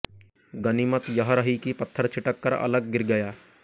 गनीमत यह रही कि पत्थर छिटक कर अलग गिर गया